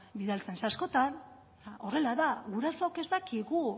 bidaltzen ze askotan horrela da gurasook ez dakigu